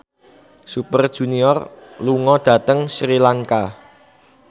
Super Junior lunga dhateng Sri Lanka